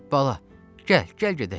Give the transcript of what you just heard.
Bala, gəl, gəl gedək.